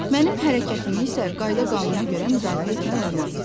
Mənim hərəkətimi isə qayda-qanuna görə müdafiə etmək olmaz.